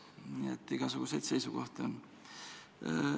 Nii et igasuguseid seisukohti on.